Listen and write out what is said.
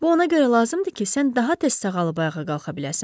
Bu ona görə lazımdır ki, sən daha tez sağalıb ayağa qalxa biləsən.